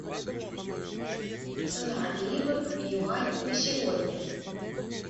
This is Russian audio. цена ливр юань на сегодня